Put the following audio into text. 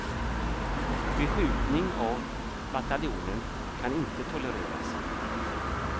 Beskjutning av bataljonen kan inte tolereras.